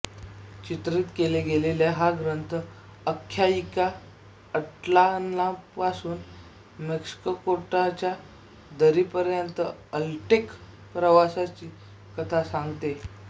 चित्रीत केला गेलेला हा ग्रंथ अख्यायिकी आझ्टलानपासून मेक्सिकोच्या दरीपर्यंतचा अझ्टेक प्रवासाची कथा सांगते